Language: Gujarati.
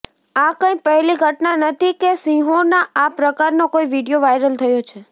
આ કંઈ પહેલી ઘટના નથી કે સિંહોનો આ પ્રકારનો કોઈ વીડિયો વાયરલ થયો છે